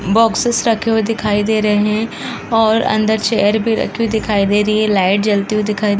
Boxes रखे हुए दिखाई दे रहे हैं और अंदर चेयर भी रखी दिखाई दे रही है। लाइट जलती हुई दिखाई --